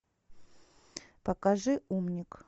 покажи умник